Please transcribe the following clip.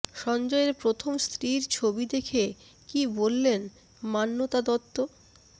সঞ্জয়ের প্রথম স্ত্রীর ছবি দেখে কী বললেন মান্যতা দত্ত